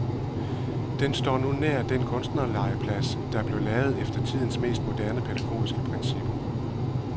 Den står nu nær den kunstnerlegeplads, der blev lavet efter tidens mest moderne pædagogiske principper.